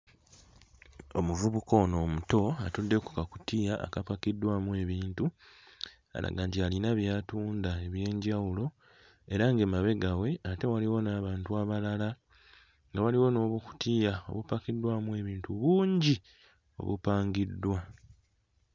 Omuvubuka ono omuto atudde ku kakutiya akapakiddwamu ebintu alaga nti alina by'atunda eby'enjawulo era ng'emabega we ate waliwo n'abantu abalala nga waliwo n'obukutiya obupakiddwamu ebintu bungi obupangiddwa.